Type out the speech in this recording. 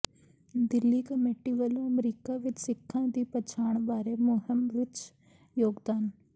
Delhi committee ਵੱਲੋਂ America ਵਿੱਚ ਸਿੱਖਾਂ ਦੀ ਪਛਾਣ ਬਾਰੇ ਮੁਹਿੰਮ ਵਿੱਚ ਯੋਗਦਾਨ